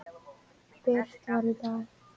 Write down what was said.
birt var í dag.